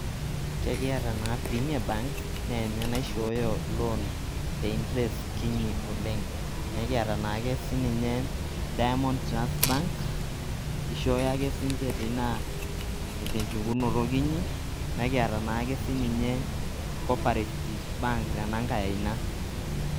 Kekiata naa Premier Bank neenye naishoyo loan te interest kinyi oleng'. Nekiata naake sininye Dimond Trust Bank, ishoyo ake sinje tenchukunoto kinyi, nikiata naake sininye Cooperative Bank tenankai aina.